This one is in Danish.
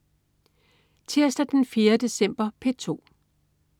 Tirsdag den 4. december - P2: